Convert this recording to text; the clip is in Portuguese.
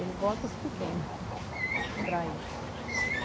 Ele bota os pequeno para ir.